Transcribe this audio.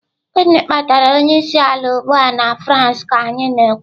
Gịnị kpatara onye isi ala ugbu a na France ka anyị na-ekwu?